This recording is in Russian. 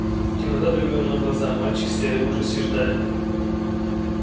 темнота давила им на глаза мальчики стояли в ужасе и ждали